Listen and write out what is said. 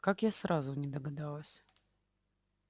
как я сразу не догадалась